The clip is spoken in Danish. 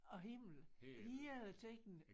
Og himmel hele tiden